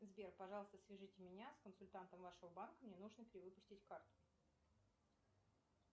сбер пожалуйста свяжите меня с консультантом вашего банка мне нужно перевыпустить карту